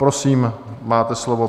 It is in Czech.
Prosím, máte slovo.